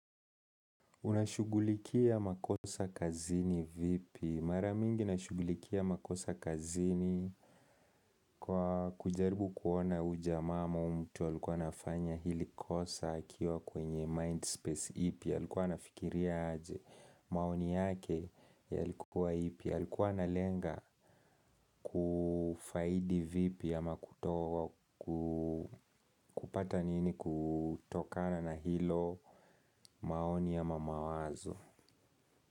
Unashugulikia makosa kazini vipi? Maramingi nashugulikia makosa kazini kwa kujaribu kuona ujama ama umtu wa likuwa nafanya hili kosa akiwa kwenye Mindspace ipi ya likuwa nafikiria aje maoni yake yalikuwa ipi ya likuwa na lenga kufaidi vipi ama kutoa kupata nini kutokana na hilo maoni ama mawazo.